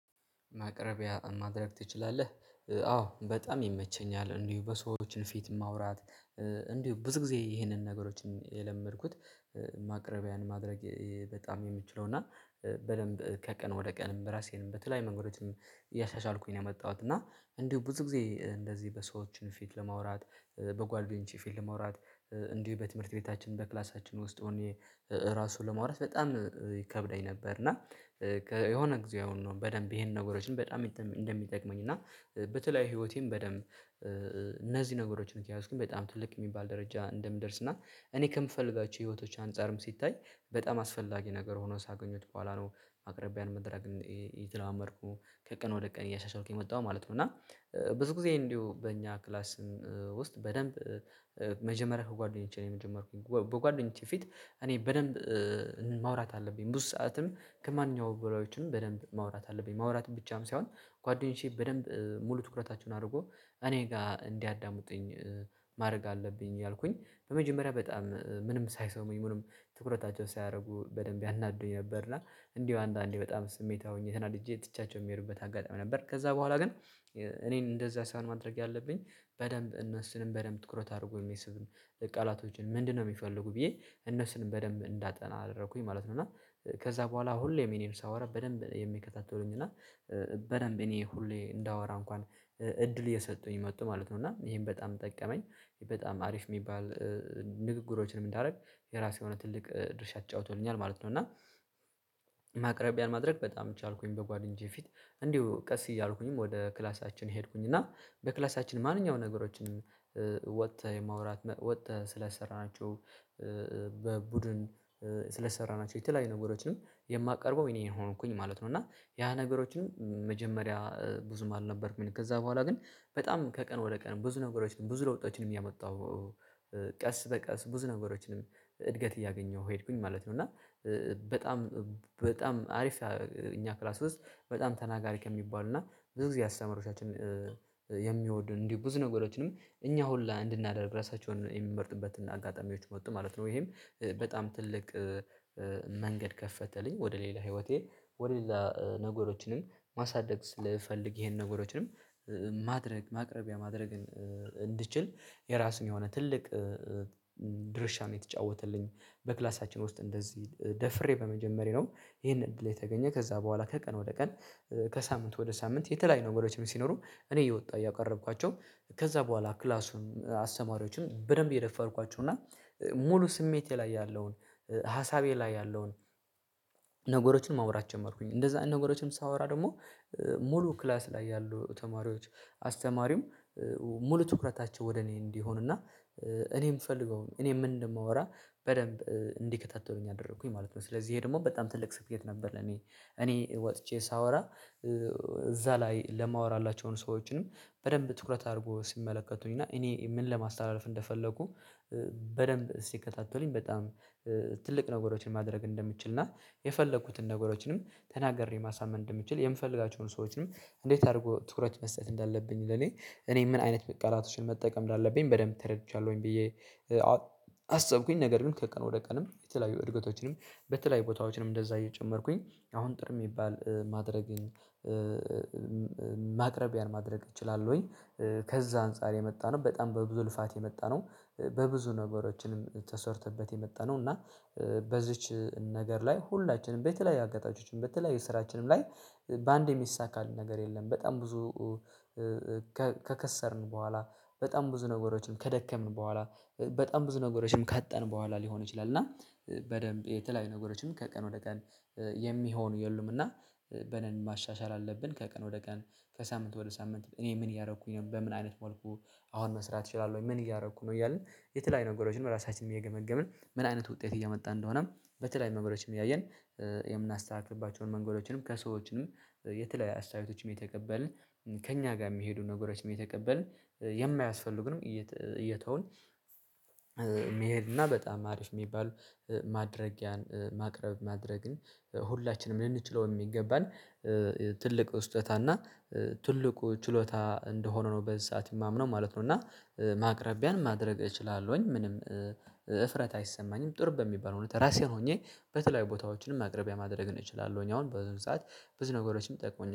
ማቅረቢያ ማድረግ ትችላለህ አዎ በጣም ይመቸኛል እንዲሁ በሰዎችን ፊት ማውራት እንዲሁ ብዙ ጊዜ ይሄንን ነገሮችን የለመድኩት። ማቅረቢያን ማድረግ በጣም የምችለው እና በደንብ ከቀን ወደ ቀን በራሴንም በተለይ መንገዶችንም እያሻሻልኩኝ ነው የመጣሁት። እና እንዲሁ ብዙ ጊዜ እንደዚህ በሰዎችን ፊት ለማውራት በጓደኞቼ ፊት ለማውራት እንዲሁ በትምህርት ቤታችን በክላሳችን ውስጥ ሆኜ ራሱን ለመዋራት በጣም ይከብደኝ ነበር። እና የሆነ ጊዜ አሁን ነው በደንብ ይሄን ነገሮችን በጣም እንደሚጠቅመኝ እና በተለያዩ ህይወቴን በደንብ። እነዚህ ነገሮችን ከያዝክ በጣም ትልቅ የሚባል ደረጃ እንደምደርስ እና እኔ ከምፈልጋቸው ህይወቶች አንፃርም ሲታይ በጣም አስፈላጊ ነገር ሆኖ ሳገኙት በኋላ ነው አቅርቤያን መድረክን የተላመድኩ ከቀን ወደ ቀን እያሻሻልኩኝ መጣሁ ማለት ነው። እና ብዙ ጊዜ እንዲሁ በእኛ ክላስ። ውስጥ በደንብ መጀመሪያ ከጓደኞቼ ነው። የመጀመርኩኝ በጓደኞቼ ፊት እኔ በደንብ ማውራት አለብኝ ብዙ ሰዓትም ከማንኛውም በላዮችንም በደንብ ማውራት አለብኝ ማውራት ብቻም ሳይሆን ጓደኞቼ በደንብ ሙሉ ትኩረታቸውን አድርጎ እኔ ጋር እንዲያዳምጡኝ ማድረግ አለብኝ ያልኩኝ በመጀመሪያ በጣም ምንም ምንም ትኩረታቸውን ሳያደርጉ በደንብ ያናዱኝ ነበር። እና እንዲሁ አንዳንዴ በጣም ስሜት ሆኜ ተናድጄ ትቻቸው የሚሄዱበት አጋጣሚ ነበር። ከዛ በኋላ ግን እኔን እንደዚህ ሳይሆን ማድረግ ያለብኝ በደንብ እነሱንም በደንብ ትኩረት አድርጎ የሚስብም ቃላቶችን ምንድነው የሚፈልጉ ብዬ እነሱንም በደንብ እንዳጠና አደረኩኝ ማለት ነው። እና ከዛ በኋላ ሁሌም እኔ ሳወራ በደንብ ነው የሚከታተሉኝ። እና በደንብ እኔ ሁሌ እንዳወራ እንኳን እድል እየሰጡኝ መጡ ማለት ነው። እና ይሄን በጣም ጠቀመኝ። በጣም አሪፍ የሚባል ንግግሮችንም እንዳደረግ የራሱ የሆነ ትልቅ ድርሻ ትጫውቶልኛል ማለት ነው። እና ማቅረቢያን ማድረግ በጣም ቻልኩኝ በጓደኞቼ ፊት እንዲሁ ቀስ እያልኩኝም ወደ ክላሳችን ሄድኩኝ እና በክላሳችን ማንኛውንም ነገሮችን ወጥተህ የማውራት ወጥተህ ስለስራናቸው በቡድን ስለሰራናቸው የተለያዩ ነገሮችንም የማቀርበው እኔ ሆንኩኝ ማለት ነው። እና ያ ነገሮችንም መጀመሪያ ብዙም አልነበርኩም ከዛ በኋላ ግን በጣም ከቀን ወደ ቀን ብዙ ነገሮች ነው ብዙ ለውጦችንም እያመጣው ቀስ በቀስ ብዙ ነገሮችንም እድገት እያገኘሁ ሄድኩኝ ማለት ነው። እና በጣም በጣም አሪፍ እኛ ክላስ ውስጥ በጣም ተናጋሪ ከሚባሉ እና ብዙ ጊዜ አስተማሪዎቻችን የሚወዱ እንዲሁ ብዙ ነገሮችንም እኛ ሁሉ እንድናደርግ ራሳቸውን የሚመርጥበትና አጋጣሚዎች መውጣት ማለት ነው። ይሄም በጣም ትልቅ መንገድ ከፈተልኝ ወደ ሌላ ህይወቴ ወደ ሌላ ነገሮችንም ማሳደግ ስልፈልግ ይሄን ነገሮችንም ማድረግ ማቅረቢያ ማድረግን እንድችል የራሱን የሆነ ትልቅ ድርሻ ነው የተጫወተልኝ። በክላሳችን ውስጥ እንደዚህ ደፍሬ በመጀመሪያው ይሄን እድል የተገኘ ከዛ በኋላ ከቀን ወደ ቀን ከሳምንት ወደ ሳምንት የተለያዩ ነገሮችም ሲኖሩ። እኔ እየወጣ እያቀረብኳቸው ከዛ በኋላ ክላሱን አስተማሪዎችን በደንብ እየደፈርኳቸው እና ሙሉ ስሜቴ ላይ ያለውን ሀሳቤ ላይ ያለውን ነገሮችን ማውራት ጀመርኩኝ። እንደዛ ነገሮችን ሳወራ ደግሞ ሙሉ ክላስ ላይ ያሉ ተማሪዎች አስተማሪም ሙሉ ትኩረታቸው ወደ እኔ እንዲሆንና እኔ ምእፈልገውም እኔም ምን እንደማወራ በደንብ እንዲከታተሉኝ አደረኩኝ ማለት ነው። ስለዚህ ይሄ ደግሞ በጣም ትልቅ ስኬት ነበር። እኔ ወጥቼ ሳወራ እዛ ላይ ለማወራላቸውን ሰዎችንም በደንብ ትኩረት አድርጎ ሲመለከቱኝ እና እኔ ምን ለማስተላለፍ እንደፈለኩ። በደንብ ሲከታተሉኝ በጣም ትልቅ ነገሮችን ማድረግ እንደምትችል። እና የፈለኩትን ነገሮችንም ተናግሬ ማሳመን እንደምችል የምፈልጋቸውን ሰዎችንም እንዴት አድርጎ ትኩረት መስጠት እንዳለብኝ። ለኔ እኔ ምን አይነት ቃላቶችን መጠቀም እንዳለብኝ በደንብ ተረድቻለሁኝ። ብዬ አሰብኩኝ ነገር ግን ከቀን ወደ ቀንም የተለያዩ እድገቶችንም በተለያዩ ቦታዎችንም እንደዛ እየጨመርኩኝ አሁን ጥሩ የሚባል ማድረግን ማቅረቢያን ማድረግ እችላለሁኝ። ከዛ አንፃር የመጣነው በጣም በብዙ ልፋት የመጣነው በብዙ ነገሮችንም ተሰርቶበት የመጣነው እና በዚች ነገር ላይ ሁላችንም በተለያዩ አጋጣሚዎችን በተለያዩ ስራችንም ላይ በአንዴ የሚሳካልን ነገር የለም። በጣም ብዙ ከከሰርን በኋላ በጣም ብዙ ነገሮችን ከደከምን በኋላ በጣም ብዙ ነገሮችንም ካጣን በኋላ ሊሆን ይችላል። እና በደንብ የተለያዩ ነገሮችን ከቀን ወደ ቀን የሚሆን የሉም እና በደንብ ማሻሻል አለብን። ከቀን ወደ ቀን ከሳምንት ወደ ሳምንት እኔ ምን እያረኩኝ ነው። በምን አይነት መልኩ አሁን መስራት እችላለሁ ወይ? ምን እያረኩ ነው እያልን የተለያዩ ነገሮችን ራሳችንን እየገመገምን ምን አይነት ውጤት እየመጣን እንደሆነም። በተለይ መምረጃዎችንም እያየን የምናስተካክልባቸውን መንገዶችንም ከሰዎችንም የተለያየ አስተያየቶችንም እየተቀበልን ከእኛ ጋር የሚሄዱ ነገሮችንም እየተቀበልን የማያስፈልጉንም እየተውን። መሄድ እና በጣም አሪፍ የሚባል ማድረጊያን ማቅረብ ማድረግን ሁላችንም ልንችለው የሚገባን ትልቅ ስጦታ እና ትልቁ ችሎታ እንደሆነ ነው በዚህ ሰዓት የማምነው ማለት ነው። እና ማቅረቢያን ማድረግ እችላለሁኝ ምንም እፍረት አይሰማኝም። ጥሩ በሚባል ሁኔታ ራሴን ሆኜ በተለያዩ ቦታዎችም አቅርቤ ማድረግ እንችላለን አሁን በዙም ሰዓት ብዙ ነገሮችንም ጠቅሞኛል